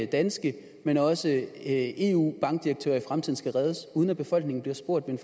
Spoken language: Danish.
danske men også eu bankdirektører i fremtiden skal reddes uden at befolkningen bliver spurgt ved